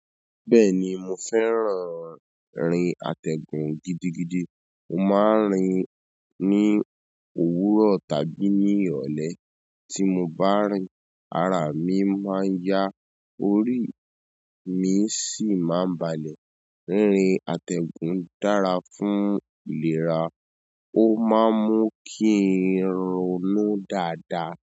Bẹ́ẹ̀ni mo fẹ́ràn rin àtẹ̀gùn gidigidi. Mo máa ń rin ní òwúrọ̀ tàbí ní ìrọ̀lẹ́. Tí mo bá rin, ara mi máa yá, orí mi sì máa ń balẹ̀. Rin àtẹ̀gùn dára fún ìlera. Ó máa ń mú kin in ronudáadáa.